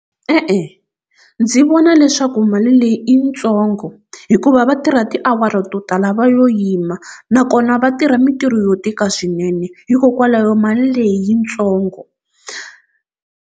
E-e ndzi vona leswaku mali leyi i yitsongo hikuva va tirha tiawara to tala va yo yima nakona va tirha mintirho yo tika swinene hikokwalaho mali leyi yi ntsongo.